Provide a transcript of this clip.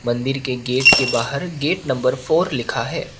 मंदिर के गेट के बाहर गेट नंबर फोर लिखा है।